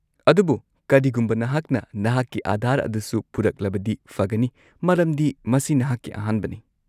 -ꯑꯗꯨꯕꯨ ꯀꯔꯤꯒꯨꯝꯕ ꯅꯍꯥꯛꯅ ꯅꯍꯥꯛꯀꯤ ꯑꯥꯙꯥꯔ ꯑꯗꯨꯁꯨ ꯄꯨꯔꯛꯂꯕꯗꯤ ꯐꯒꯅꯤ ꯃꯔꯝꯗꯤ ꯃꯁꯤ ꯅꯍꯥꯛꯀꯤ ꯑꯍꯥꯟꯕꯅꯤ꯫